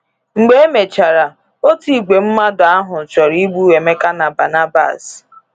Mgbe emechara, òtù ìgwè mmadụ ahụ chọrọ igbu Emeka na Barnabas.